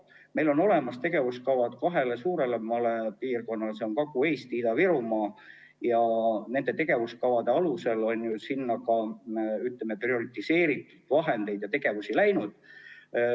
Meil on olemas tegevuskavad kahele suurele piirkonnale, Kagu-Eesti ja Ida-Virumaa, ja nende tegevuskavade alusel on sinna ka, ütleme, prioriseeritud vahendeid ja tegevusi läinud.